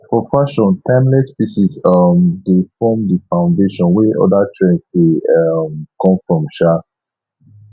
for fashion timeless pieces um dey form di foundation wey oda trends dey um come from um